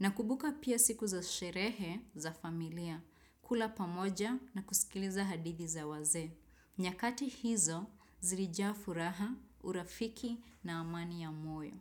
Nakubuka pia siku za sherehe za familia, kula pamoja na kusikiliza hadithi za wazee. Nyakati hizo, zilijaa furaha, urafiki na amani ya moyo.